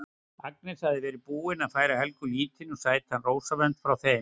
Agnes hafði verið búin að færa Helga lítinn og sætan rósavönd frá þeim